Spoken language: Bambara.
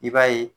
I b'a ye